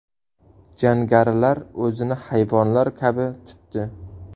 Jangarilar o‘zini hayvonlar kabi tutdi”.